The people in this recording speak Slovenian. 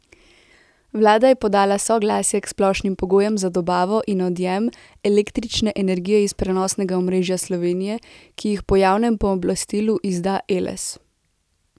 Vlada je podala soglasje k splošnim pogojem za dobavo in odjem električne energije iz prenosnega omrežja Slovenije, ki jih po javnem pooblastilu izda Eles.